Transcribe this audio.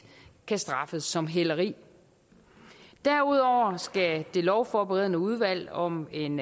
kan straffes som hæleri derudover skal det lovforberedende udvalg om en